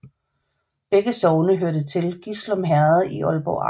Begge sogne hørte til Gislum Herred i Aalborg Amt